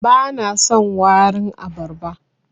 Bana son warin abarba.